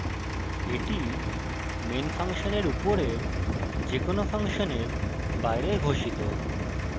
এটি main ফাংশনের উপরের যে কোনো ফাংশনের বাইরে ঘোষিত